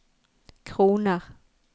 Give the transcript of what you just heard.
kroner